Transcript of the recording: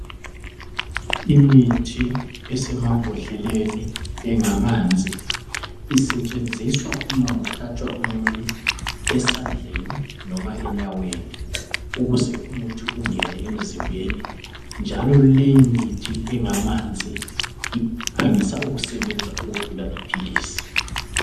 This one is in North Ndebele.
Imithi esemambodleleni engamanzi isetshenziswa uma kuhlatshwa umuntu esandleni noma enyaweni ukuze umuthi ungene emzimbeni njalo leyimithi engamanzi iphangisa ukusebenza ukudlula iphilisi.